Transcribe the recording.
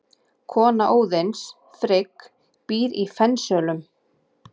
Kona Óðins, Frigg, býr í Fensölum.